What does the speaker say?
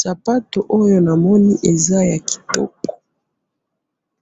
sapato oyo namoni eza ya kitoko.